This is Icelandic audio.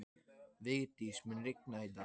Vigdís, mun rigna í dag?